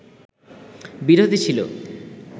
বিরোধী ছিল